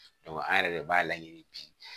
an yɛrɛ de b'a laɲini bi